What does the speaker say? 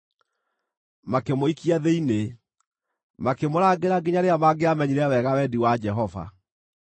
Makĩmũikia thĩinĩ, makĩmũrangĩra nginya rĩrĩa mangĩamenyire wega wendi wa Jehova.